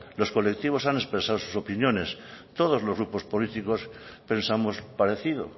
los colectivos han expresado sus opiniones todos los grupos políticos pensamos parecido